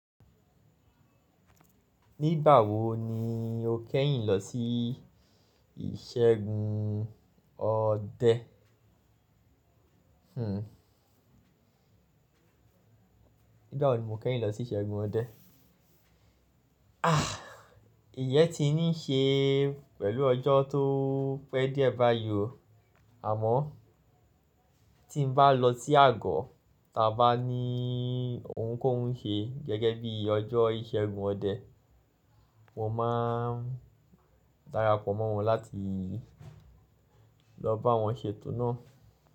Nígbà wo ni o kẹ́yìn lọ sí ìṣẹ́gun ọdẹ? Nígbà wo ni mo kẹ́yìn lọ sí ìṣẹ́gun ọdẹ? Ah, ìyẹ́ ti ní ṣe pẹ̀lú ọjọ́ tó pẹ́ diẹ̀ ba yí o. Àmọ́ tí mo bá lọ sí àgọ, ta bá ní ohun kóun n ṣe gẹ́gẹ́ bí ọjọ́ ìṣẹ́gun ọdẹ. Mo máa darapọ̀ mọ́ wọn láti lọ bá wọn ṣètò náà.